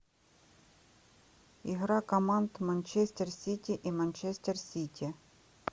игра команд манчестер сити и манчестер сити